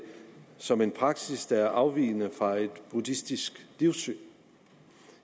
som en praksis der er afvigende fra et buddhistisk livssyn